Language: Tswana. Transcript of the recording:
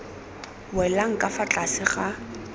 welang ka fa tlase ga